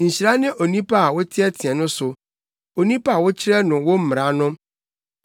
Awurade, nhyira ne onipa a woteɛteɛ no so, onipa a wokyerɛ no wo mmara no;